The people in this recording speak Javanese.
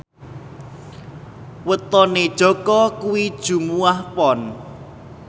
wetone Jaka kuwi Jumuwah Pon